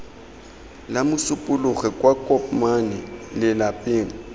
la mosupologo kwa kopmane lelapeng